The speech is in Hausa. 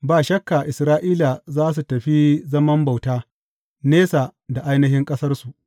Ba shakka Isra’ila za su tafi zaman bauta, nesa da ainihin ƙasarsu.